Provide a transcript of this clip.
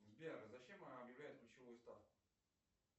сбер зачем объявляют ключевую ставку